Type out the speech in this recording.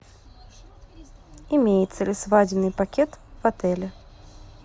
имеется ли свадебный пакет в отеле